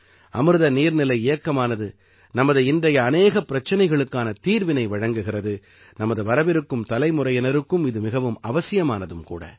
அமிர்த நீர்நிலை இயக்கமானது நமது இன்றைய அநேகப் பிரச்சினைகளுக்கான தீர்வினை வழங்குகிறது நமது வரவிருக்கும் தலைமுறையினருக்கும் இது மிகவும் அவசியமானதும் கூட